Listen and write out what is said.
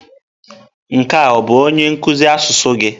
Nke a ọ bụ onye nkuzi asụsụ gị?